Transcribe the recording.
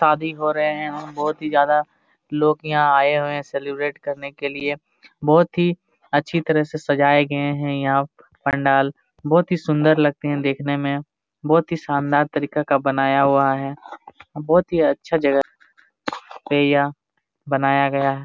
शादी हो रहे है बहुत ही ज्यादा लोग यहाँ आये हुए है सेलिब्रेट करने के लिए। बहुत ही अच्छी तरह से सजाया गए है यहाँ पंडाल बहुत ही सुंदर लगते है देखने में बहुत ही शानदार तरीके का बनाया हुआ है। बहुत ही अच्छा जगह पे यह बनाया गया है।